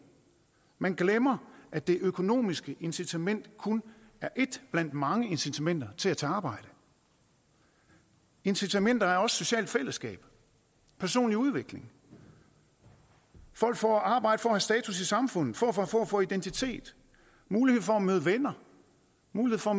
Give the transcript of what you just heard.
man glemmer at det økonomiske incitament kun er et blandt mange incitamenter til at tage arbejde incitamenter er også socialt fællesskab og personlig udvikling folk får arbejde for at have status i samfundet for at få identitet mulighed for at møde venner mulighed for at